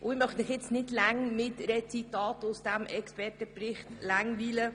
Ich möchte Sie nicht lange mit Zitaten aus diesem Expertenbericht langweilen.